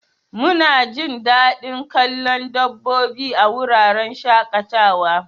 Munajin dadin kallon dabbobi a wuraren shaƙatawa.